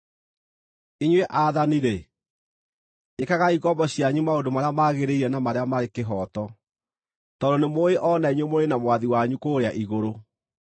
Inyuĩ aathani-rĩ, ĩkagai ngombo cianyu maũndũ marĩa magĩrĩire na marĩa marĩ kĩhooto, tondũ nĩmũũĩ o na inyuĩ mũrĩ na Mwathi wanyu kũrĩa igũrũ.